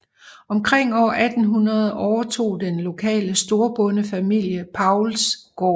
Omkring år 1800 overtog den lokale storbondefamilie Pauls gården